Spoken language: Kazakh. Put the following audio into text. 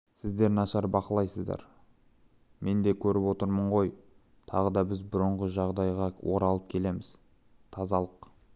сіздер нашар бақылайсыздар мен де көріп отырмын ғой тағы да біз бұрыңғы жағдайға оралып келеміз тазалық